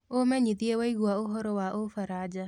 umenyĩthĩe waigwa ũhoro wa ufaraja